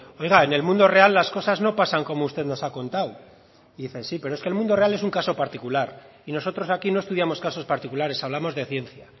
oiga en el mundo real las cosas no pasan como usted nos ha contado y dice sí pero es que el mundo real es un caso particular y nosotros aquí no estudiamos casos particulares hablamos de ciencia